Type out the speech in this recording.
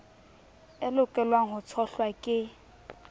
e lokelwang ho tshohlwa ke